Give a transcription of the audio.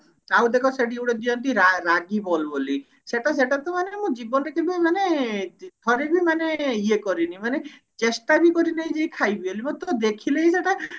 ଆଉ ଗୋଟେ ସେଠି ଦେଖ ଦିଅନ୍ତି ରା ରାଗି ball ବୋଲି ସେଟା ସେଟା ତ ମାନେ ମୁଁ ଜୀବନରେ କେବେ ମାନେ ଥରେ ବି ମାନେ ଇଏ କରିନି ମାନେ ଚେଷ୍ଟା ବି କରିନେଇ ଯେ ଖାଇବି ବୋଲି ମତେ ତ ଦେଖିଲେ ହିଁ ସେଟା